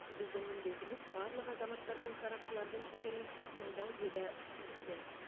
біздің міндетіміз барлық азаматтар мен сарапшылардың пікірін тыңдау деді спикер